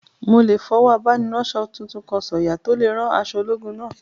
Mo lè fọwọ́ abániránsọ tuntun kan sọ̀yà tó lè rán aṣọ ológun náà